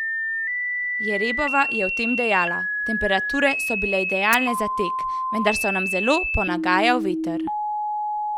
Jerebova je o tem dejala: 'Temperature so bile idealne za tek, vendar na je zelo ponagajal veter.